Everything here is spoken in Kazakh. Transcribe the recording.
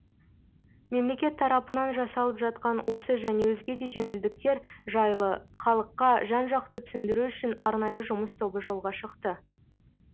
мемлекет тарапынан жасалып жатқан осы және өзге де жеңілдіктер жайлы халыққа жан жақты түсіндіру үшін арнайы жұмыс тобы жолға шықты